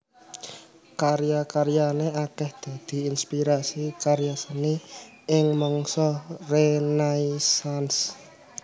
Karya karyané akèh dadi inspirasi karya seni ing mangsa Renaisans